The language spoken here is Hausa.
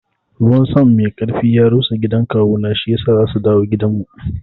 Ruwan sama mai karfi ya rusa gidan kawuna shiyasa za su dawo gidanmu.